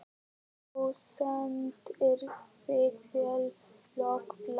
Þú stendur þig vel, Lokbrá!